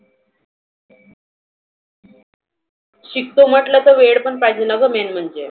शिकतो म्हटलं तर वेळ पण पाहिजे main म्हणजे.